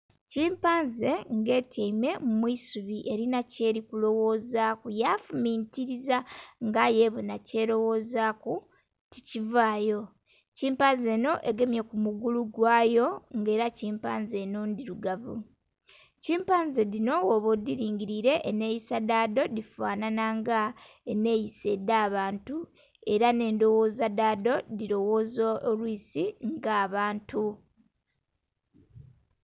Kimpanze nga etyaime mwi subi erina kyeri kuloghoza ku ya fumintiliza nga aye ebonhe kyeloghozaku ti kivaayo, kimpanze enho yegemye ku mugulu gwayo nga era kimpanze enho ndhirugavu. Kimpanze dhinho bwona odhilingilile enheyisa dha dho dhifanana nga enheyisa edha bantu era nhe endhoghoza dha dho dhiloghoza olwisi nga abantu.